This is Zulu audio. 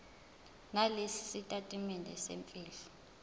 nalesi sitatimende semfihlo